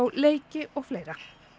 leiki og fleira